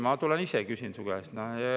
Ma tulen ise küsin su käest.